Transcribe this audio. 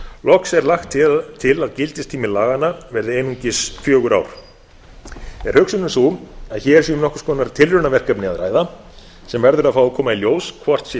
loks er lagt til að gildistími laganna verði einungis fjögur ár er hugsunin sú að hér sé um nokkurs konar tilraunaverkefni að ræða sem verður að fá að koma í ljós hvort sé